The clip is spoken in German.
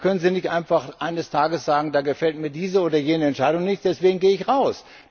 Dann können sie nicht einfach eines Tages sagen Da gefällt mir diese oder jene Entscheidung nicht, deswegen gehe ich raus.